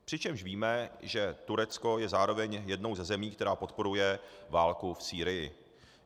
Přičemž víme, že Turecko je zároveň jednou ze zemí, která podporuje válku v Sýrii.